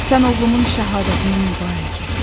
Sən oğlumun şəhadətini mübarək et.